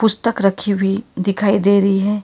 पुस्तक रखी हुई दिखाई दे रही है।